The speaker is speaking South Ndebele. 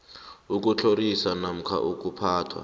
ukutlhoriswa namkha ukuphathwa